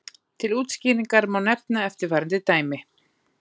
til útskýringar má nefna eftirfarandi dæmi